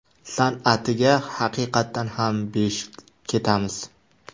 San’atiga haqiqatan ham besh ketamiz.